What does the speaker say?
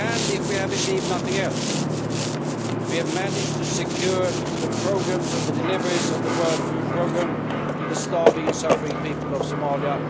And, if we have received nothing else, we have managed to secure the programmes of the deliveries of the World Food Programme to the starving and suffering people of Somalia.